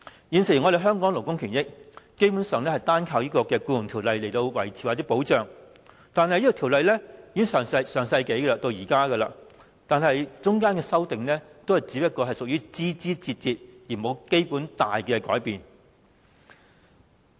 現時香港勞工的權益，基本上單靠《僱傭條例》來維持或保障，但條例自上世紀訂立至今，其間只有枝節上的修訂，並無甚麼重大改變。